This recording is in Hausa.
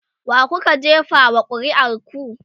wakuka jefa wa ƙuri'ar ku?